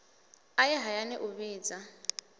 a ye hayani u vhidza